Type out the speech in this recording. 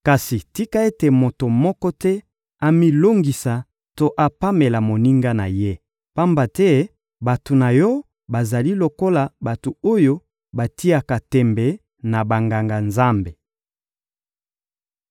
Kasi tika ete moto moko te amilongisa to apamela moninga na ye, pamba te bato na yo bazali lokola bato oyo batiaka tembe na Banganga-Nzambe!